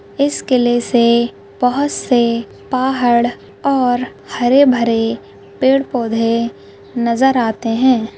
इस किले से बहुत से पहाड़ और हरे -भरे पेड़-पौधे नज़र आते है।